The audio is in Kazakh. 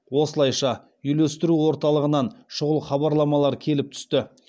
осылайша үйлестіру орталығынан шұғыл хабарламалар келіп түсті